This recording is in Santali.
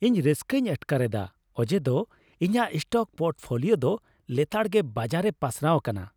ᱤᱧ ᱨᱟᱹᱥᱠᱟᱹᱧ ᱟᱴᱠᱟᱨ ᱮᱫᱟ ᱚᱡᱮᱫᱚ ᱤᱧᱟᱹᱜ ᱥᱴᱚᱠ ᱯᱳᱨᱴᱯᱷᱳᱞᱤᱭᱳ ᱫᱚ ᱞᱮᱛᱟᱲᱜᱮ ᱵᱟᱡᱟᱨᱮ ᱯᱟᱥᱱᱟᱣ ᱟᱠᱟᱱᱟ ᱾